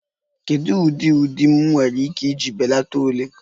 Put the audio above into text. Kedu ụdị ụdị m nwere ike iji belata ọla?